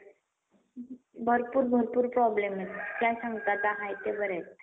एक विद्यार्थी असला तरी त्यासाठी शिक्षक नेमून असे शिक्षण विभागाने स्पष्ट केलेच आहे. शालंच्या मूल्यांकनाचे काय? राष्ट्रीय शिक्षण धोरण